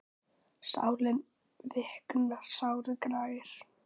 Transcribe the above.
Sálin viknar, sárið grær.